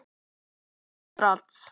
Þau tengja strax.